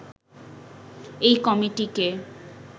এই কমিটিকে